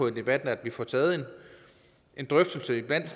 i debatten at få taget en drøftelse blandt